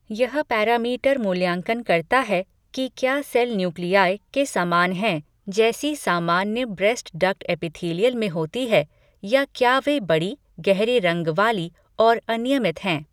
यह पैरामीटर मूल्यांकन करता है कि क्या सेल न्यूक्ली के समान हैं जैसी सामान्य ब्रेस्ट डक्ट एपिथीलियल में होती है या क्या वे बड़ी, गहरे रंग वाली और अनियमित हैं।